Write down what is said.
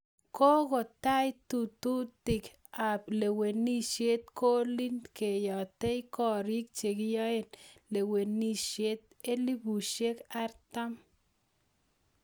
Kokotai tetutik ap lewenisiet ngoli keyatei korik chekiyae lewenisiet elfusiek artam